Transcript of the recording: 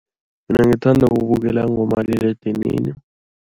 Mina ngithanda ukubukela ngomaliledini.